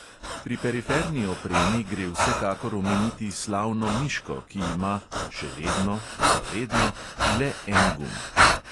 Pri periferni opremi gre vsekakor omeniti slavno miško, ki ima (še vedno, za vedno) le en gumb.